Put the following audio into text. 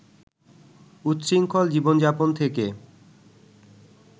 উচ্ছৃঙ্খল জীবনযাপন থেকে